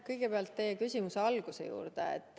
Kõigepealt teie küsimuse alguse juurde.